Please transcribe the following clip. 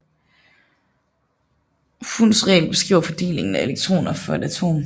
Hunds regel beskriver fordelingen af elektroner for et atom